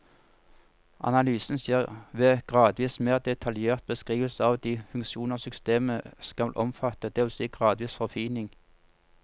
Analysen skjer ved gradvis mer detaljert beskrivelse av de funksjoner systemet skal omfatte, det vil si gradvis forfining.